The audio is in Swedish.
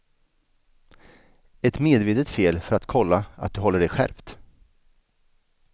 Ett medvetet fel för att kolla att du håller dig skärpt.